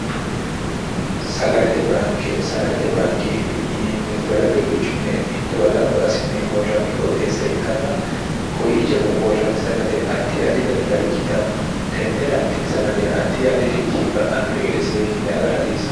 sagalete baanke sagalete baankeeti yineemmoti sagale quchumme mittowa gamba asinne worranni qooxeessa ikkanna kuwiichono worranni sagale addi addi danita ikkitanno tennera tini sagale addi addirichi ba'annoh gede seekinne agara hasiissano.